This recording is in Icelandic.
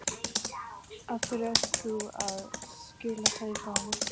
Af hverju ert þú að skila kveðju frá honum?